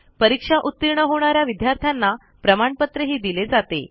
परीक्षा उतीर्ण होणा या विद्यार्थ्यांना प्रमाणपत्रही दिले जाते